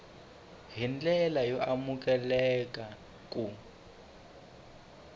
hi ndlela yo amukeleka ku